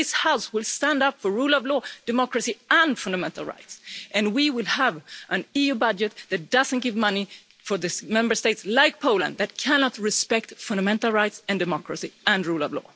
This House will stand up for the rule of law, democracy and fundamental rights, and we will have an EU budget that doesn't give money to those Member States like Poland that cannot respect fundamental rights and democracy and the rule of law.